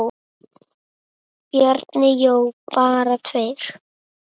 Bjarni Jó: Bara tveir?!